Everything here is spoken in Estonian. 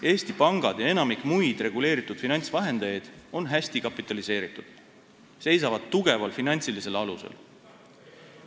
Eesti pangad ja enamik muid reguleeritud finantsvahendajaid on hästi kapitaliseeritud, nad seisavad tugeval finantsilisel alusel.